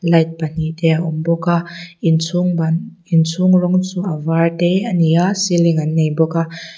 light pahnih te a awm bawk a in chhung ban in chhung rawng chu a vâr te a ni a ceiling an nei bawk a.